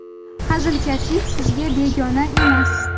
Hazilkashlik sizga begona emas.